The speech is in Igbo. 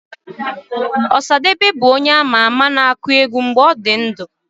Ọsadebe bụ onye a ma ama na-akụ egwu mgbe ọ nọ ndụ